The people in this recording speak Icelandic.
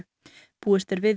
búist er við